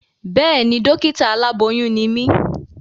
Béèni, dọ́kítà aláboyún ni mí